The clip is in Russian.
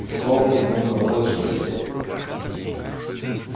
скоп кивнул головой и спросил